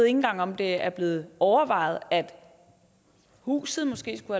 engang om det er blevet overvejet at huset måske skulle